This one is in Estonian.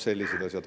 Sellised asjad.